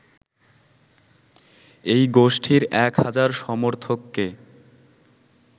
এই গোষ্ঠীর এক হাজার সমর্থককে